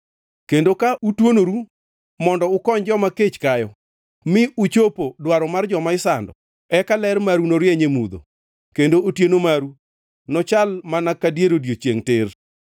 kendo ka utuonoru mondo ukony joma kech kayo mi uchopo dwaro mar joma isando. Eka ler maru norieny e mudho kendo otieno maru nochal mana ka dier odiechiengʼ tir.